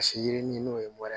Ka se yiri ni n'o ye bɔrɛ